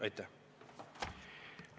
Aitäh!